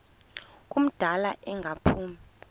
ngumdala engaphumi kulo